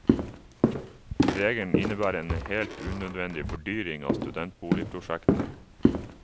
Regelen innebærer en helt unødvendig fordyring av studentboligprosjektene.